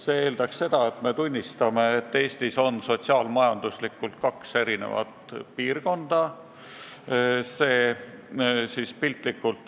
See eeldaks seda, et me tunnistame, et Eestis on sotsiaal-majanduslikult kaks erinevat piirkonda.